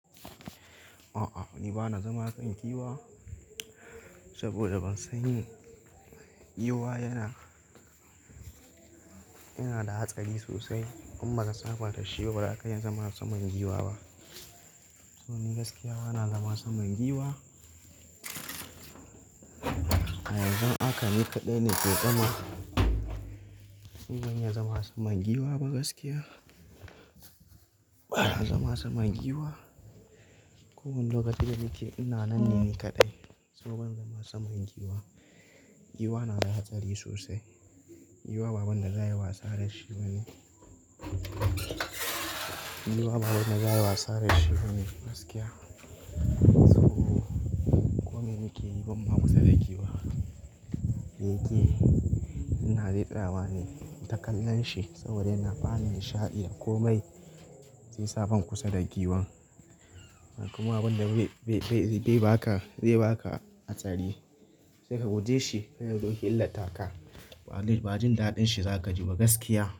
A'a ni bana zama a kan giwa saboda ban san yi. Giwa yana, yana da hatsari sosai in ba ka saba da shi ba ba ka iya zama saman giwa ba. To ni gaskiya bana zama saman giwa. A yanzu haka ni kaɗai ne ke nan. Ni ban ya zama saman giwa ba gaskiya. Bana zama saman giwa. Ko wanda lokaci da like ina nan ne kadai saboda ban zama saman giwa. Giwa yana da hatsari sosai. Giwa baban da za a yi wasa da shi ba ne. Giwa baban da za a yi wasa da shi ba ne gaskiya. Saboda kome muke yi bam ma kusa da giwa. Da yake ina zaɓawa ne, ta kallon shi saboda yana bani nishadi komai zai sa bam kusa da giwan. Kuma abin da zai baka, zai baka hatsari sai ka guje shi. Kai dai dokin lataka ba jin daɗin shi za ka ji ba gaskiya.